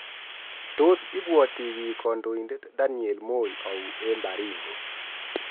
Tos ibuati bik Kandoindet Daniel Moi au eng Baringo